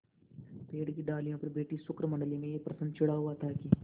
पेड़ की डालियों पर बैठी शुकमंडली में यह प्रश्न छिड़ा हुआ था कि